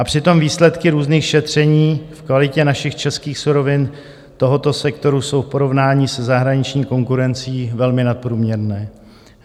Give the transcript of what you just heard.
A přitom výsledky různých šetření v kvalitě našich českých surovin tohoto sektoru jsou v porovnání se zahraniční konkurencí velmi nadprůměrné.